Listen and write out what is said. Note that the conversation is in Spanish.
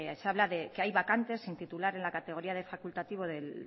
se habla de que hay vacantes sin titular en la categoría de facultativo de